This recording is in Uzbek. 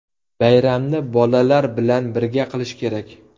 Bayramni bolalar bilan birga qilish kerak.